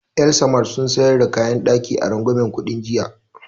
El-samad sun sayan da kayan ɗaki a rangwamen kuɗi jiya